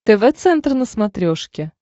тв центр на смотрешке